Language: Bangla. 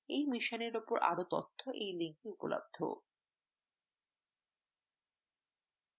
এই মিশনের উপর আরো তথ্য এই link এ উপলব্ধ